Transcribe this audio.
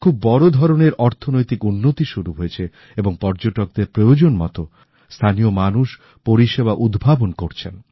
খুব বড় ধরণের অর্থনৈতিক উন্নতি শুরু হয়েছে এবং পর্যটকদের প্রয়োজন মতো স্থানীয় মানুষ পরিষেবা উদ্ভাবন করছেন